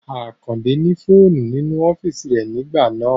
Àkàndé ní fóònù nínú ọ́físì rẹ nígbà náà